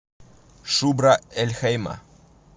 шубра эль хейма